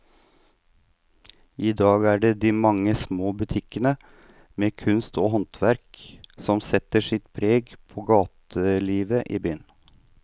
I dag er det de mange små butikkene med kunst og håndverk som setter sitt preg på gatelivet i byen.